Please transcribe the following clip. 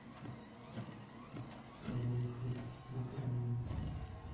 король и шут на краю